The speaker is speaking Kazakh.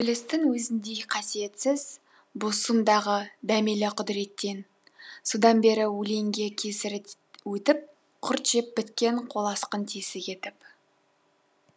ібілістің өзіндей қасиетсіз бұ сұм дағы дәмелі құдіреттен содан бері өлеңге кесірі өтіп құрт жеп біткен қоласқын тесік етіп